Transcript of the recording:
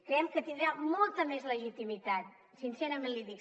creiem que tindrà molta més legitimitat sincerament l’hi dic